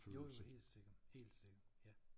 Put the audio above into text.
Jo jo helt sikkert helt sikkert ja